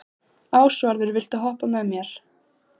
Ásvarður, viltu hoppa með mér?